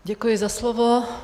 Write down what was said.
Děkuji za slovo.